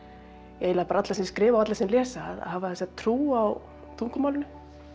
eiginlega bara alla sem skrifa og alla sem lesa að hafa þessa trú á tungumálinu